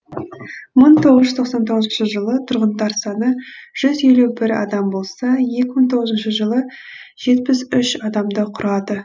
мың тоғыз жүз тоқсан тоғыз жылы тұрғындар саны жүз елу бір адам болса екі мың тоғыз жылы жетпіс үш адамды құрады